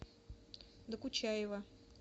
докучаева